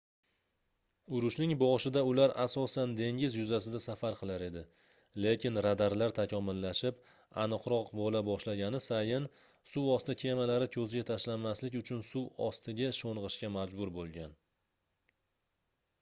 urushning boshida ular asosan dengiz yuzasida safar qilar edi lekin radarlar takomillashib aniqroq boʻla boshlagani sayin suvosti kemalari koʻzga tashlanmaslik uchun suv ostiga shongʻishga majbur boʻlgan